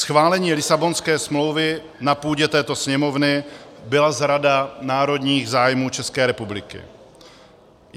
Schválení Lisabonské smlouvy na půdě této Sněmovny byla zrada národních zájmů České republiky.